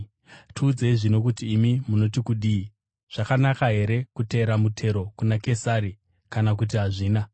Tiudzei zvino kuti imi, munoti kudini? Zvakanaka here kutera mutero kuna Kesari kana kuti hazvina?”